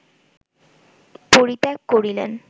পরিত্যাগ করিলেন